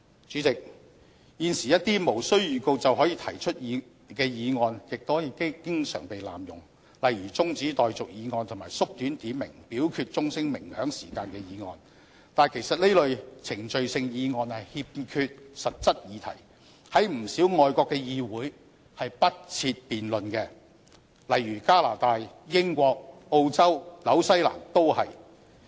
主席，現時一些無經預告便可提出的議案亦經常被濫用，例如中止待續議案及縮短點名表決鐘聲鳴響時間的議案，但其實這類程序性議案欠缺實質議題，在不少外國的議會是不設辯論的，例如加拿大、英國、澳洲、新西蘭都是。